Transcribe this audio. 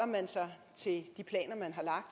man sig til de planer